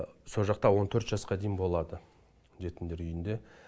со жақта он төрт жасқа дейін болады жетімдер үйінде